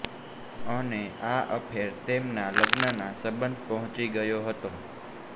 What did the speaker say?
અને આ અફેર તેમના લગ્નના સબંધ પોહચી ગયો હતો